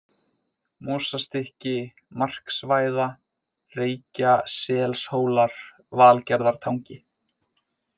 Mosastykki, Marksvæða, Reykjaselshólar, Valgerðartangi